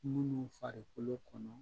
Munnu farikolo kɔnɔ